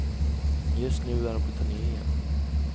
Just nu är hon på turné igen.